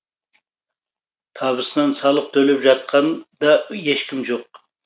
табысынан салық төлеп жатқан да ешкім жоқ